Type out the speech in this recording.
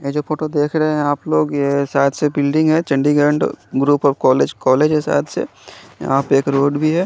ये जो फोटो देख रहे है आप लोग ये शायद से बिल्डिंग है Chandigarh group of college college है शायद से यहाँ पे एक रोड भी है।